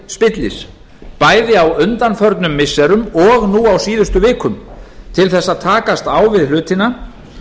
spillis bæði á undanförnum missirum og nú á síðustu vikum til þess að takast á við hlutina